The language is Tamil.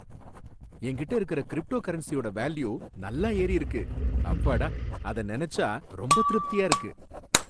என்கிட்ட இருக்கிற கிரிப்டோகரன்சியோட வேல்யூ நல்லா ஏறி இருக்கு. அப்பாடா! அத நெனச்சா ரொம்ப திருப்தியா இருக்கு.